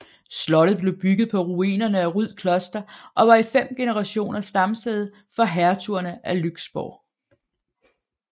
Slottet blev bygget på ruinerne af Ryd Kloster og var i fem generationer stamsæde for hertugerne af Lyksborg